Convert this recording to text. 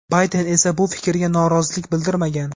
Bayden esa bu fikrga norozilik bildirmagan.